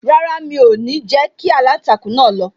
Rárá, mi o ni jẹ kí aláǹtakùn náà lọ